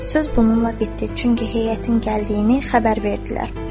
Söz bununla bitdi, çünki heyətin gəldiyini xəbər verdilər.